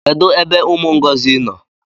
Kedu ebe umu Ngozi no?